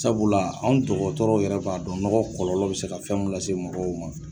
Sabula anw dɔgɔtɔrɔw yɛrɛ b'a dɔn nɔgɔ kɔlɔlɔ be se ka fɛn mun lase mɔgɔw ma